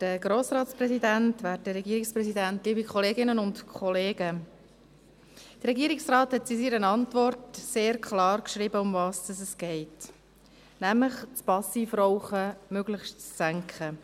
Der Regierungsrat hat in seiner Antwort sehr klar geschrieben, worum es geht, nämlich darum, das Passivrauchen möglichst zu senken.